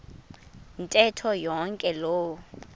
ntetho yonke loo